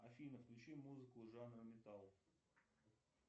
афина включи музыку жанра металл